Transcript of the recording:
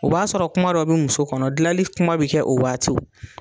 O b'a sɔrɔ kuma dɔ bɛ muso kɔnɔ dilali kuma bɛ kɛ o waatiw.